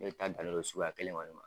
Ne le ta danen do suguya kelen kɔni ma.